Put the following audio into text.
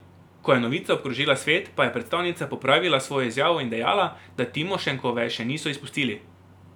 Ko je novica obkrožila svet, pa je predstavnica popravila svojo izjavo in dejala, da Timošenkove še niso izpustili.